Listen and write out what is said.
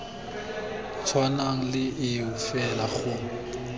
tshwanang le eo fela go